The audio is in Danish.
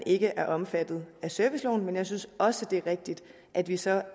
ikke er omfattet af serviceloven men jeg synes også det er rigtigt at vi så